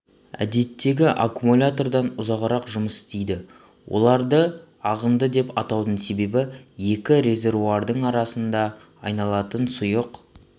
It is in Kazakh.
әдеттегі аккумулятордан ұзағырақ жұмыс істейді оларды ағынды деп атаудың себебі екі резервуардың арасында айналатын сұйық